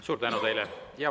Suur tänu teile!